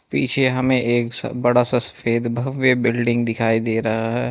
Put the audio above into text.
पीछे हमें एक स बड़ा सा सफेद भव्य बिल्डिंग दिखाई दे रहा है।